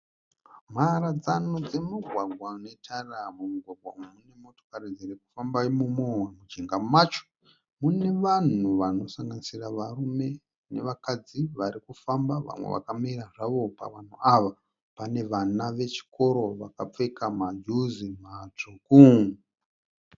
Mharadzano dzemugwagwa unetara. Mumugwagwa umu mune motokari dziri kufamba imomo. Mujinga macho mune vanhu vanosanganisira varume nevakadzi vari kufamba vamwe vakamira zvavo. Pavanhu ava pane vana vechikoro vakapfeka majuzi matsvuku.